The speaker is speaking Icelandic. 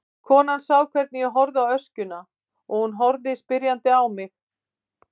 Konan sá hvernig ég horfði á öskjuna og hún horfði spyrjandi á mig.